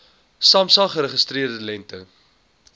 samsa geregistreerde lengte